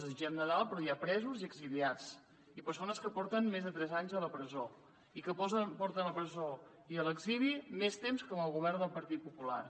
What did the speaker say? desitgem nadal però hi ha presos i exiliats i persones que porten més de tres anys a la presó i que porten a la presó i a l’exili més temps que amb el govern del partit popular